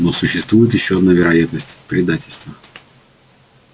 но существует ещё одна вероятность предательство